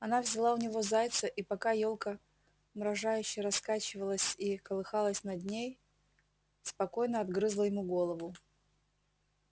она взяла у него зайца и пока ёлка мрожающе раскачивалась и колыхалась над ней спокойно отгрызла ему голову